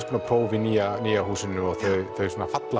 próf í nýja nýja húsinu og þau falla